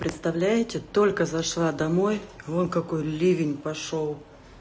представляете только зашла домой вон какой ливень пошёл